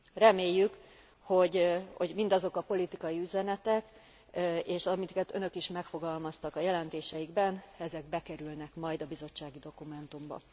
Reméljük, hogy mindazok a politikai üzenetek, és amiket Önök is megfogalmaztak a jelentésükben, ezek bekerülnek majd a bizottsági dokumentumba.